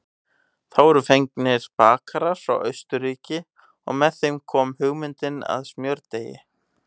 Þá voru fengnir bakarar frá Austurríki og með þeim kom hugmyndin að smjördeigi.